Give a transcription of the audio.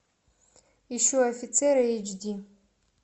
ищу офицера эйч ди